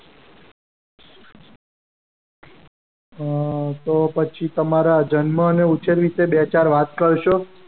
અમ તો પછી તમારા જન્મ અને ઉછેર વિશે તે બે ચાર વાત કરશો.